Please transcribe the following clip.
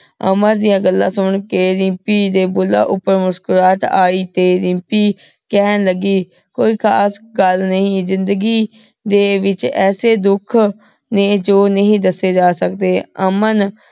ਅਮਨ ਦੀਆਂ ਗੱਲਾਂ ਸੁਨ ਕੇ ਰਿਮਪੀ ਦੇ ਬੁੱਲਾਂ ਉਪਰ ਮੁਸਕੁਰਾਹਟ ਆਈ ਤੇ ਰਿਮਪੀ ਕੇਹਨ ਲਗੀ ਕੋਈ ਖਾਸ ਗਲ ਨਹੀ ਜ਼ਿੰਦਗੀ ਦੇ ਵਿਚ ਐਸੇ ਦੁਖ ਨੇ ਜੋ ਨਹੀ ਦੱਸੇ ਜਾ ਸਕਦੇ ਅਮਨ